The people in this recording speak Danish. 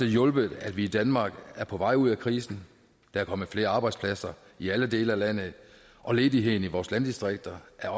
hjulpet at vi i danmark er på vej ud af krisen der er kommet flere arbejdspladser i alle dele af landet og ledigheden i vores landdistrikter er